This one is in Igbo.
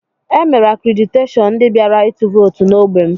E mere akrediteshọn ndị bịara ịtụ vootu n'ogbé m